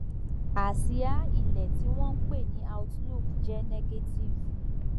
àsìá ilẹ tí wọn ń pè ní outlook jẹ negative